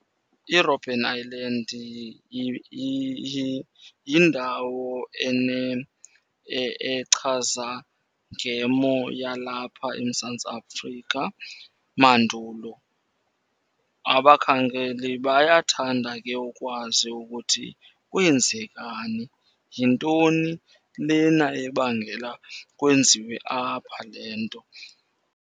IRobben Island yindawo echaza ngemo yalapha eMzantsi Afrika mandulo. Abakhangeli bayathanda ke ukwazi ukuthi kweenzekani, yintoni lena ebangela kwenziwe apha le nto.